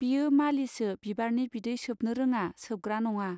बियो मालिसो बिबारनि बिदै सोबनो रोङा सोबग्रा नङा.